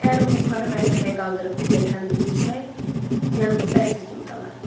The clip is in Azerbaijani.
Əgər onu yuxarı mərtəbəyə qaldırıb pilləkanı götürsək, yanımızda əsir kimi qalar.